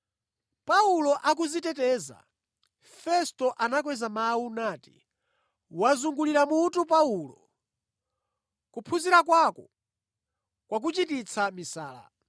Paulo akudziteteza, Festo anakweza mawu nati, “Wazungulira mutu Paulo! Kuphunzira kwako kwakuchititsa misala.”